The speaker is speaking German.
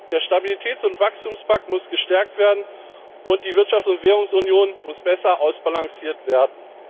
Der Stabilitäts und Wachstumspakt muss gestärkt werden, und die Wirtschafts und Währungsunion muss besser ausbalanciert werden.